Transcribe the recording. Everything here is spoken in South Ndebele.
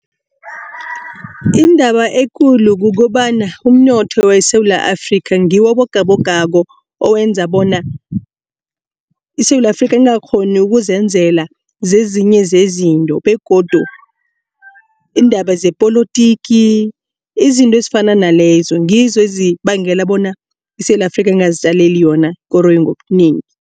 Indaba ekulu kukobana umnotho weSewula Afrika ngiwo abogabogako owenza bona iSewula Afrika engakghoni ukuzenzela zezinye zezinto begodu iindaba zepolotiki izinto ezifana nalezo ngizo ezibangela bona iSewula Afrika ingazitjaleli yona ikoroyi ngobunengi.